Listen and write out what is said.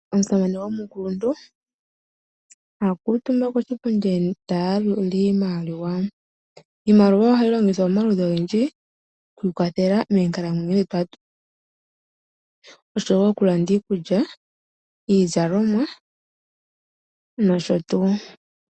Omusamane omukuluntu akuutumba koshipundi taya yalula iimaliwa, Iimaliwa ohayi longithwa momaludhi ogendji okwi ikwathela moonkalamweno dhetu oshowo oku landa iikulya, iizalomwa nosho tuu.